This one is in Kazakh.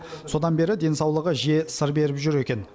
содан бері денсаулығы жиі сыр беріп жүр екен